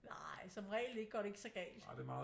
Nej som regel ikke går det ikke så galt